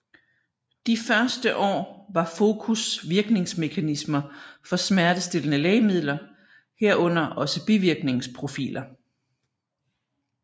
De første år var fokus virkningsmekanismer for smertestillende lægemidler herunder også bivirkningsprofiler